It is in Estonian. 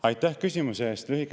Aitäh küsimuse eest!